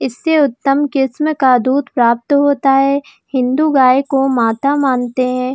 इससे उत्तम किस्म का दूध प्राप्त होता है हिन्दू गाय को माता मानते हैं।